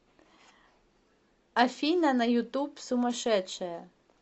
афина на ютуб сумасшедшая